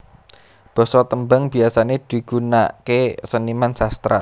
Basa tembang biasane digunaake seniman sastra